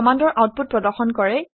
ই কমাণ্ডৰ আউটপুট প্ৰদৰ্শন কৰে